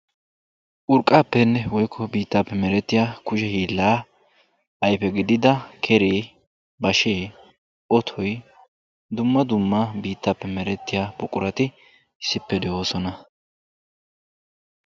Urqqaappenne woykko biittaappe merettiyaa kushe hiillaa ayfe gidida keree, bashee, otoy dumma dumma biittaappe merettiyaa buqurati issippe de'oosona.